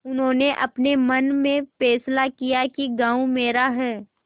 उन्होंने अपने मन में फैसला किया कि गॉँव मेरा है